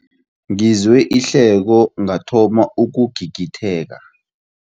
Ngizwe ihleko ngathoma ukugigitheka.